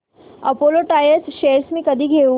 Apollo tyres shares मी कधी घेऊ